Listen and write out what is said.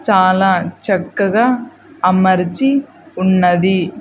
చాలా చక్కగా అమర్చి ఉన్నది.